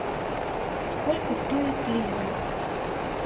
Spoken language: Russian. сколько стоит лира